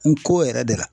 N ko yɛrɛ de la